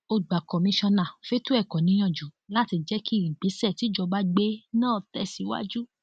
ó gba kọmíkànnà fẹtọ ẹkọ níyànjú láti jẹ kí ìgbésẹ tìjọba gbé náà tẹsíwájú